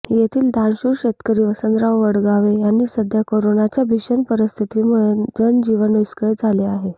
येथील दानशूर शेतकरी वसंतराव वडगावे यांनी सध्या कोरोनाच्या भीषण परस्थितीमुळे जनजीवन विस्कळीत झाले आहे